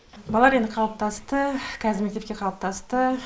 балалар енді қалыптасты қазір мектепке қалыптасты